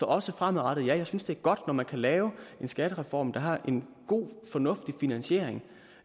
også fremadrettet ja jeg synes at det er godt når man kan lave en skattereform der har en god fornuftig finansiering